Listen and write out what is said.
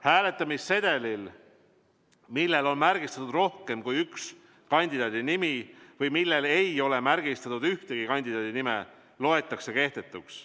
Hääletamissedel, millel on märgistatud rohkem kui ühe kandidaadi nimi või millel ei ole märgistatud ühegi kandidaadi nime, loetakse kehtetuks.